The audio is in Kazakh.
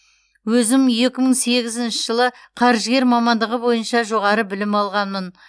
өзім екі мың сегізінші жылы қаржыгер мамандығы бойынша жоғары білім алғанмын